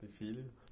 Tem filho?